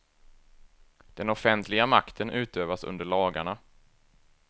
Den offentliga makten utövas under lagarna.